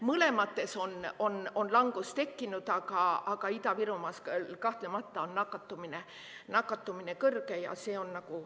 Mõlemas on langus tekkinud, aga Ida-Virumaal on kahtlemata nakatumine kõrge.